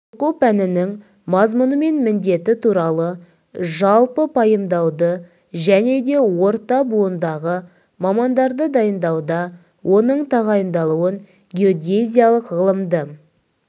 оқу пәнінің мазмұны мен міндеті туралы жалпы пайымдауды және де орта буындағы мамандарды дайындауда оның тағайындалуын геодезиялық ғылымды